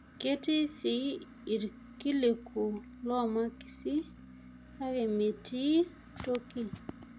Ketii sii irkiliku omakisi, kake metii toki.